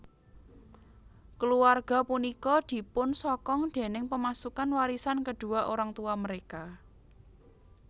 Keluarga punika dipunsokong déning pemasukan warisan kedua orang tua mereka